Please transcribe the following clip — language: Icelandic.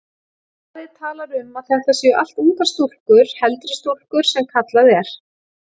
Blaðið talar um að þetta séu allt ungar stúlkur, heldri stúlkur sem kallað er.